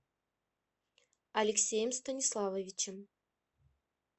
алексеем станиславовичем